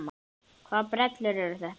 Hvaða brellur eru þetta?